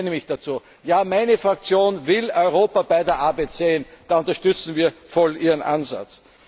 Ich bekenne mich dazu Ja, meine Fraktion will Europa bei der Arbeit sehen! Da unterstützen wir voll Ihren Ansatz.